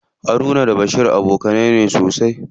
Haruna da Bashir abokanai ne sosai.